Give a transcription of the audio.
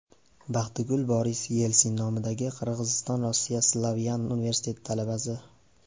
Baxtigul Boris Yelsin nomidagi Qirg‘iziston-Rossiya Slavyan universiteti talabasi.